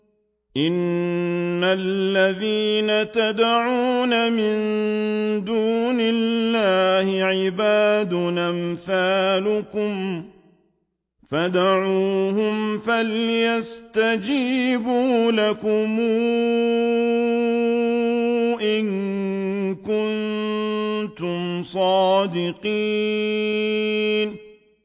إِنَّ الَّذِينَ تَدْعُونَ مِن دُونِ اللَّهِ عِبَادٌ أَمْثَالُكُمْ ۖ فَادْعُوهُمْ فَلْيَسْتَجِيبُوا لَكُمْ إِن كُنتُمْ صَادِقِينَ